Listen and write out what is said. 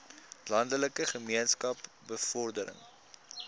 landelike gemeenskappe bevordering